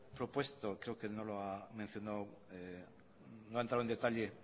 propuesto creo que no lo ha mencionado no ha entrado en detalle